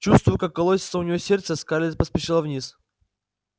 чувствуя как колотится у неё сердце скарлетт поспешила вниз